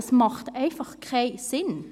– Dies ergibt einfach keinen Sinn!